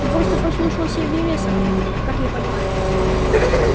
ты просто послушался вересова как я понимаю